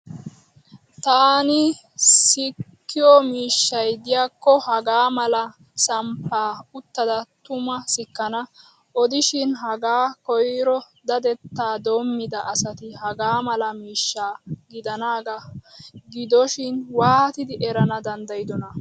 Taani sikkiyo miishshay diyaakko hagaa mala samppaa uttada tuma sikkana. Odishin hagaa koyro dadettaa doommida asati hagaa mala miishsha gidanaagaa gidoshin waatidi erana danddayidona?